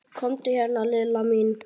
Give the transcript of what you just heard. Komdu hérna Lilla mín.